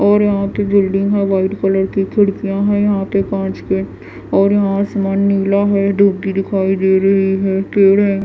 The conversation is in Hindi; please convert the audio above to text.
और यहाँ के बिल्डिंग है वाइट कलर की खिड़कियाँ हैं यहाँ के काँच के और यहाँ आसमान नीला है धूप भी दिखाई दे रही है पेड़ है।